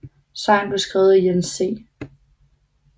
Sangen blev skrevet af Jens C